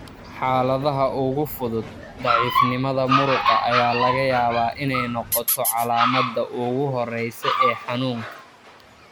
Xaaladaha ugu fudud, daciifnimada muruqa ayaa laga yaabaa inay noqoto calaamadda ugu horreysa ee xanuunka.